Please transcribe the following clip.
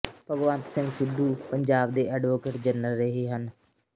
ਭਗਵੰਤ ਸਿੰਘ ਸਿੱਧੂ ਪੰਜਾਬ ਦੇ advocate general ਰਹੇ ਹਨ